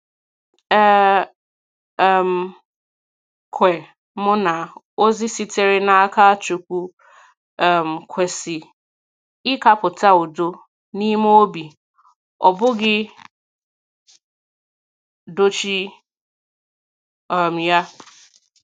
E um kwè m na ozi sitere n’aka Chukwu um kwesị ịkàpụta udo n’ime obi, ọ bụghị dochie um ya.